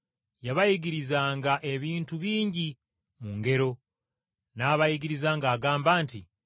Yabayigirizanga ebintu bingi mu ngero. N’abayigiriza ng’agamba nti,